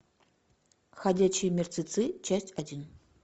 ходячие мертвецы часть один